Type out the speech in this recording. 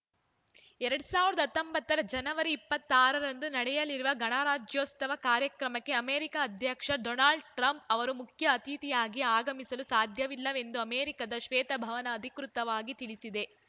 ಎರಡ್ ಸಾವಿರದ ಹತ್ತೊಂಬತ್ತು ರ ಜನವರಿ ಇಪ್ಪತ್ತ್ ಆರ ರಂದು ನಡೆಯಲಿರುವ ಗಣರಾಜ್ಯೋತ್ಸವ ಕಾರ್ಯಕ್ರಮಕ್ಕೆ ಅಮೆರಿಕ ಅಧ್ಯಕ್ಷ ಡೊನಾಲ್ಡ್ ಟ್ರಂಪ್‌ ಅವರು ಮುಖ್ಯ ಅತಿಥಿಯಾಗಿ ಆಗಮಿಸಲು ಸಾಧ್ಯವಿಲ್ಲ ಎಂದು ಅಮೆರಿಕದ ಶ್ವೇತ ಭವನ ಅಧಿಕೃತವಾಗಿ ತಿಳಿಸಿದೆ